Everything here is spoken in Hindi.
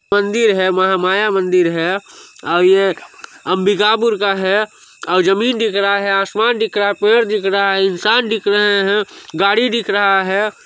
मंदिर है महामाया मंदिर है और ये अंबिकापुर का है और ज़मीन दिख रहा है आसमान दिख रहा है पेड़ दिख रहा है इंसान दिख रहे है गाड़ी दिख रहा है।